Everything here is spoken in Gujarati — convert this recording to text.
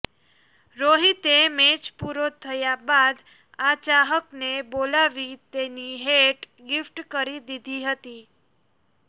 રોહિતે મેચ પૂરો થયા બાદ આ ચાહકને બોલાવી તેની હેટ ગિફ્ટ કરી દીધી હતી